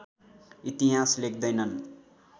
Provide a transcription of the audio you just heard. इतिहास लेख्दैनन्